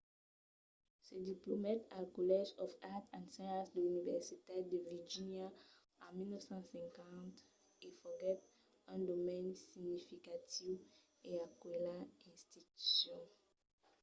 se diplomèt al college of arts & sciences de l’universitat de virgínia en 1950 e foguèt un donaire significatiu a aquela institucion